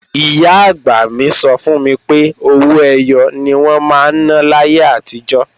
Ìyá-àgbà mi sọ fún mi pé owó ẹyọ ni wọ́n máa ń ná láyé àtijọ́